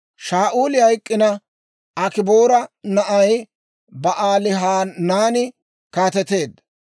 Shaa'uuli hayk'k'ina, Akiboora na'ay Ba'aalihanaani kaateteedda.